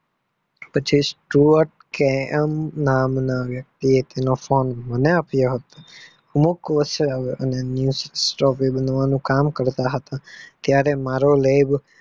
પછી સ્ટૂયત. કે. મ નામ ના વક્તિએ તેનો ફોને મને આપીઓ હતો અમુક વર્ષે new torch બનવાનું કામ કરતા હતા ત્યારે મારો લેબ